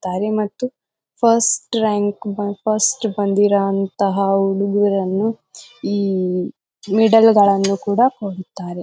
ತಾರೆ ಮತ್ತು first rank first ಬಂದಿರಂತಹ ಹುಡಿಗೀರನ್ನು ಈ ಮೆಡಲ್ಗಳ್ಳನ್ನು ಕೂಡ ಕೊಡ್ತಾರೆ.